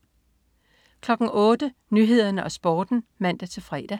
08.00 Nyhederne og Sporten (man-fre)